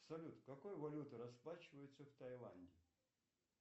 салют какой валютой расплачиваются в таиланде